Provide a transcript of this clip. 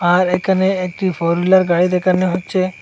আর এখানে একটি four wheeler গাড়ি দেখানো হচ্ছে।